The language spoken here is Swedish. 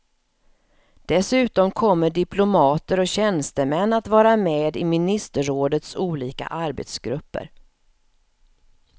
Dessutom kommer diplomater och tjänstemän att vara med i ministerrådets olika arbetsgrupper.